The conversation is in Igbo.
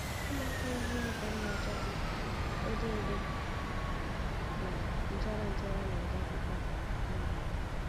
Ụmụaka yi yunifọm na-achatụ odo odo na nchara nchara na-eje akwụkwọ. um